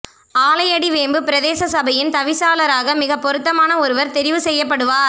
ஆலையடிவேம்பு பிரதேச சபையின் தவிசாளராக மிக பொருத்தமான ஒருவர் தெரிவு செய்யப்படுவார்